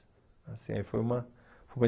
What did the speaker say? Assim aí foi uma foi uma